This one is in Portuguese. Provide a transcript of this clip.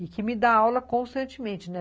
e que me dá aula constantemente, né?